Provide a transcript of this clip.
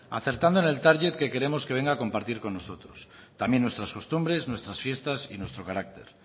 acertando en el target que queremos que venga a compartir con nosotros también nuestras costumbres nuestras fiestas y nuestro carácter